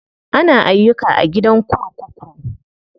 Ana ayyuka a gidan kurkuku.